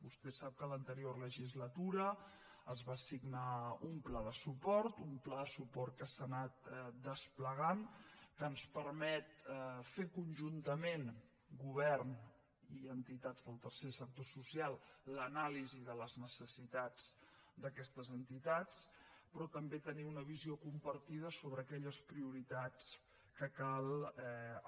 vostè sap que l’anterior legislatura es va signar un pla de suport un pla de suport que s’ha anat desplegant que ens permet fer conjuntament govern i entitats del tercer sector social l’anàlisi de les necessitats d’aquestes entitats però també tenir una visió compartida sobre aquelles prioritats que cal